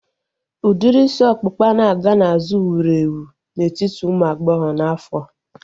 Udiri isi ọkpụkpa na-aga n'azụ wuru ewu n'etiti ụmụ agbọghọ n'afọa